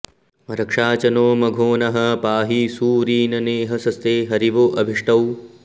रक्षा॑ च नो म॒घोनः॑ पा॒हि सू॒रीन॑ने॒हस॑स्ते हरिवो अ॒भिष्टौ॑